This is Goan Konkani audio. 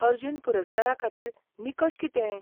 अर्जुन पुरस्कारा खातीर निकश कितें?